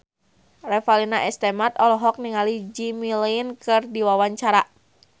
Revalina S. Temat olohok ningali Jimmy Lin keur diwawancara